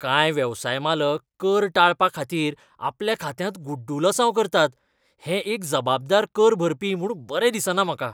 कांय वेवसाय मालक कर टाळपा खातीर आपल्या खात्यांत गुड्डुलसांव करतात हें एक जबाबदार कर भरपी म्हूण बरें दिसना म्हाका.